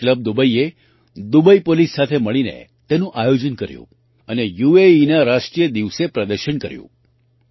Kalari club દુબઈએ Dubai police સાથે મળીને તેનું આયોજન કર્યું અને યુએઇના રાષ્ટ્રીય દિવસે પ્રદર્શન કર્યું